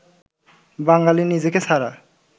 বাঙালি নিজেকে ছাড়া